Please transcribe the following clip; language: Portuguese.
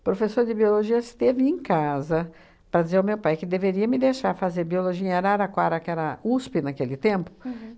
professor de Biologia esteve em casa para dizer ao meu pai que deveria me deixar fazer Biologia em Araraquara, que era USP naquele tempo. Uhum